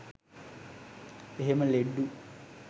එහෙම ලෙඩ්ඩු